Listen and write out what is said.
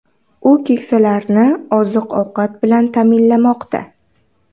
U keksalarni oziq-ovqat bilan ta’minlamoqda .